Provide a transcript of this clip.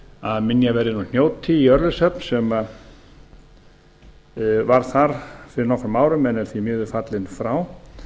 að hnjóti í ölfushöfn sem var þar fyrir nokkrum árum en er því miður fallinn frá